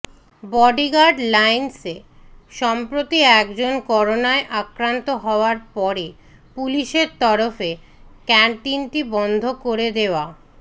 bodyguard লাইন্সে সম্প্রতি এক জন করোনায় আক্রান্ত হওয়ার পরে পুলিশের তরফে ক্যান্টিনটি বন্ধ করে দেওয়া